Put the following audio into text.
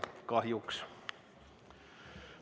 Kahjuks.